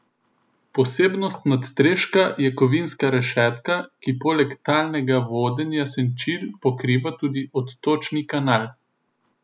Posebnost nadstreška je kovinska rešetka, ki poleg talnega vodenja senčil pokriva tudi odtočni kanal.